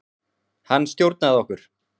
Hann stjórnaði okkur.